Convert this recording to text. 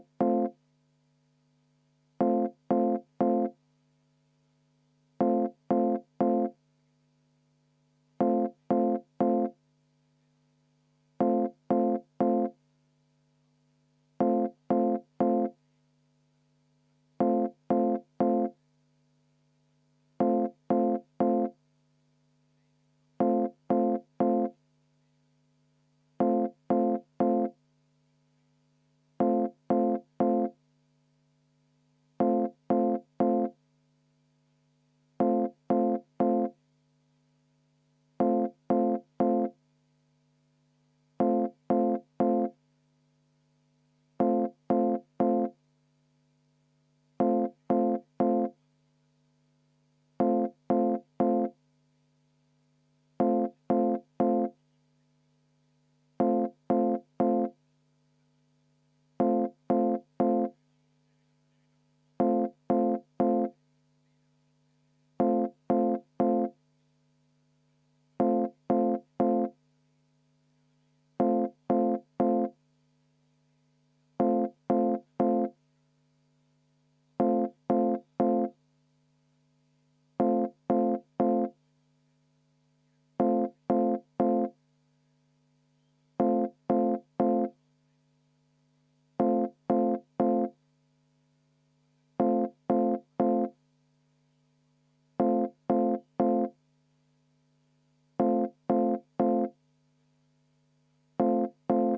V a h e a e g